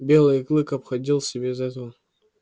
белый клык обходился без этого